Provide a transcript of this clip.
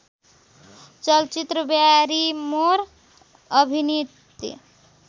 चलचित्र ब्यारीमोर अभिनीत